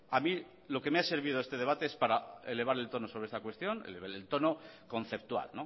a mí lo que me ha servido este debate es para elevar el tono sobre esta cuestión elevar el tono conceptual